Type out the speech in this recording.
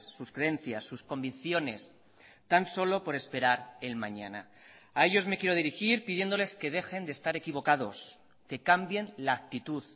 sus creencias sus convicciones tan solo por esperar el mañana a ellos me quiero dirigir pidiéndoles que dejen de estar equivocados que cambien la actitud